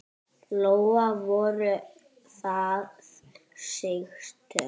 Lóa: Voru það mistök?